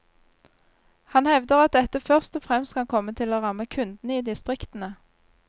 Han hevder at dette først og fremst kan komme til å ramme kundene i distriktene.